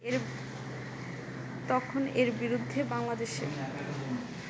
তখন এর বিরুদ্ধে বাংলাদেশে